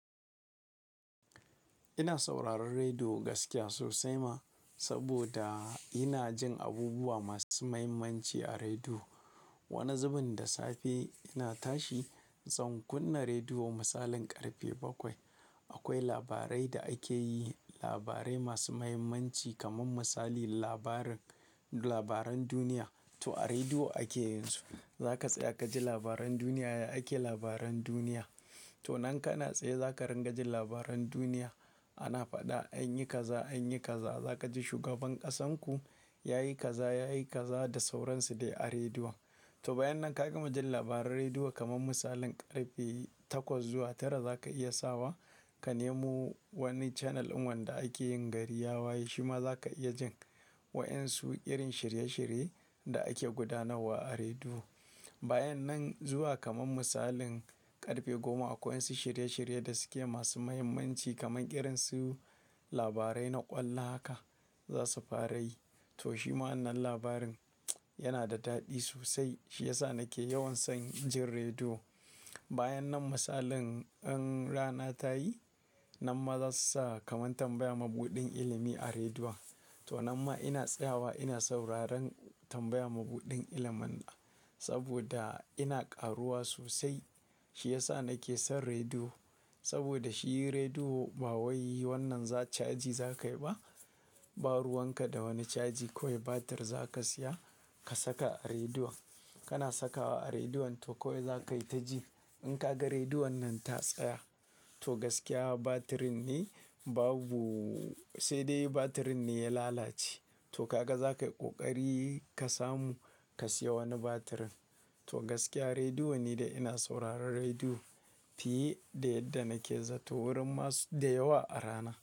Ina sauraron rediyo gaskiya sosai ma, saboda ina jin abubuwa masu mahimmanci a rediyo. Wani zubin da safe ina tashi zan kunna rediyo. Misalin karfe bakwai akwai labarai da ake yi, labarai masu mahimmanci kamar misali labarin labaran duniya to a rediyo ake yin su. Za ka tsaya ka ji labaran duniya ya ake labaran duniya. To nan ka na tsaye za ka ringa jin labaran duniya. Ana faɗa anyi kaza anyi kaza. Za ka ji shugaban ƙasarku ya yi kaza, ya yi kaza da sauransu dai a rediyo. To bayan nan ka gama jin labaran rediyo kamar misalin karfe takwas zuwa tara za ka iya sawa ka nemo wani channel in wanda ake yin gariyawa shima za ka iya jin wa'insu irin shirye-shirye da ake gudanarwa a rediyo. Bayan nan zuwa kamar misalin karfe goma akwai wasu shirye-shirye da suke masu mahimmanci kaman irin su labarai na ƙwallo haka za su fara yi. To shi ma wannan labarin yana da daɗi sosai shi ya sa nake yawan son jin rediyo. Bayan nan misalin in rana ta yi, nan ma za su sa kamar tambaya mabuɗin ilimi a rediyo. To nan ma ina tsayawa ina sauraron tambaya mabuɗin iliman. Saboda ina ƙaruwa sosai shi ya sa nake son rediyo. Saboda shi rediyo ba wai wannan za caji za ka yi ba. Ba ruwan ka da wani caji. Kowai batir za ka siya ka saka a rediyon. Kana sakawa a rediyon to kawai za ka yi ta ji. In ka ga rediyon nan ta tsaya to gaskiya batirin ne babu-- sai dai batirin ne ya lalace. To ka ga za ka yi ƙoƙari ka samu ka siya wani batirin. To gaskiya rediyo ne da ina sauraron rediyo fiye da yadda nake zato wurin masu da yawa a rana.